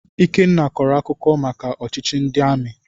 Ikenna kọrọ akụkọ maka ọchịchị ndị amị.